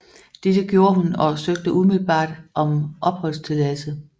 Dette gjorde hun og søgte umiddelbart om opholdstilladelse